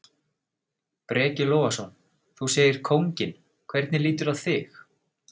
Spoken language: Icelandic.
Breki Logason: Þú segir kónginn, hvernig líturðu á þig?